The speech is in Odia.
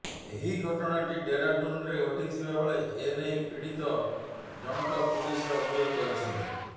ଏହି ଘଟଣାଟି ଡେରାଡୁନ୍ରେ ଘଟିଥିବା ବେଳେ ଏ ନେଇ ପୀଡ଼ିତ ଜଣଙ୍କ ପୁଲିସରେ ଅଭିଯୋଗ କରିଛନ୍ତି